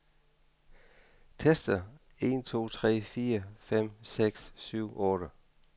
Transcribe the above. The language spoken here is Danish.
Tester en to tre fire fem seks syv otte.